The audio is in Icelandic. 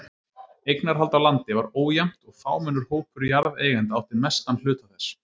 Eignarhald á landi var ójafnt og fámennur hópur jarðeigenda átti mestan hluta þess.